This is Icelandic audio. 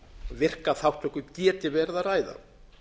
virka þátttöku geti verið að ræða